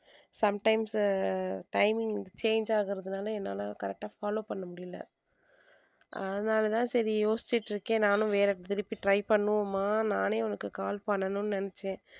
sometimes ah timing change ஆகுறதுனால என்னால correct uh follow பண்ணமுடியலை அதனால தான் சரி யோசிச்சிட்டிருக்கேன் நானும் வேற திருப்பி try பண்ணுவோமா நானே உனக்கு call பண்ணணும்னு நினச்சேன்.